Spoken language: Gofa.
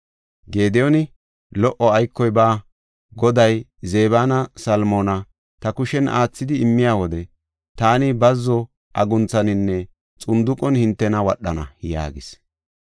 Gediyooni, “Lo77o aykoy baawa; Goday Zebanne Salmoona ta kushen aathidi immiya wode taani bazzo agunthaninne xunduqen hintena wadhana” yaagis.